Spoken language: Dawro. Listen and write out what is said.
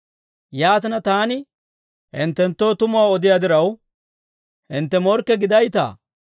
Yaatina taani hinttenttoo tumuwaa odiyaa diraw, hintte morkke gidaytaa?